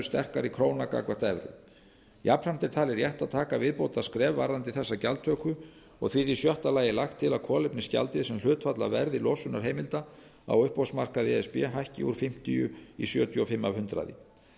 sterkari króna gagnvart evru jafnframt er talið rétt að taka viðbótarskref varðandi þessa gjaldtöku og því er í sjötta lagi lagt til að kolefnisgjaldið sem hlutfall af verði losunarheimilda á uppboðsmarkaði e s b hækki úr fimmtíu prósent í sjötíu og fimm prósent